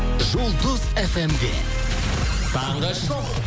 жұлдыз фм де таңғы шоу